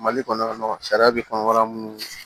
Mali kɔnɔ sariya bɛ fanbala minnu na